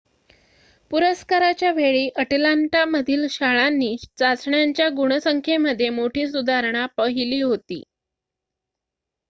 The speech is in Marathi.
पुरस्काराच्या वेळी अटलांटामधील शाळांनी चाचण्यांच्या गुणसंख्येमध्ये मोठी सुधारणा पहिली होती